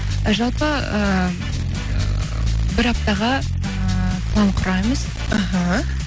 жалпы ыыы бір аптаға ыыы план құрамыз іхі